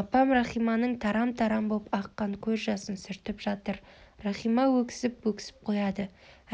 апам рахиманың тарам-тарам боп аққан көз жасын сүртіп жатыр рахима өксіп-өксіп қояды